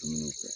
Dumuniw kɛ